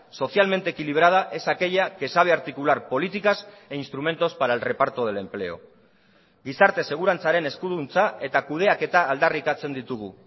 socialmente equilibrada es aquella que sabe articular políticas e instrumentos para el reparto del empleo gizarte segurantzaren eskuduntza eta kudeaketa aldarrikatzen ditugu